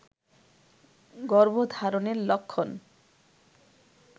গর্ভধারণের লক্ষণ